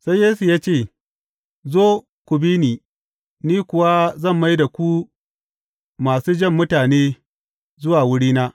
Sai Yesu ya ce, Zo, ku bi ni, ni kuwa zan mai da ku masu jan mutane zuwa wurina.